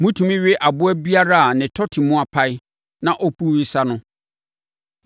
Motumi we aboa biara a ne tɔte mu apae na ɔpu wesa no.